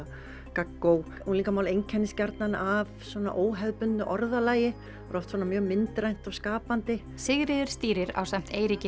gaggó unglingamál einkennist gjarnan af svona óhefðbundnu orðalagi er oft svona mjög myndrænt og skapandi Sigríður stýrir ásamt Eiríki